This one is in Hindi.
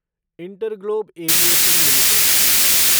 InterGlobe aviation limited